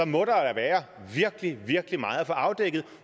må da være virkelig virkelig meget få afdækket